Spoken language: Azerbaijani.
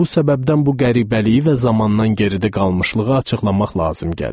Bu səbəbdən bu qəribəliyi və zamandan geridə qalmışlığı açıqlamaq lazım gəlir.